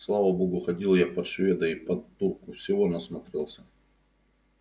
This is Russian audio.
слава богу ходил я под шведа и под турку всего насмотрелся